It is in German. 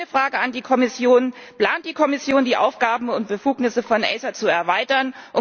Meine Frage an die Kommission Plant die Kommission, die Aufgaben und Befugnisse von ACER zu erweitern?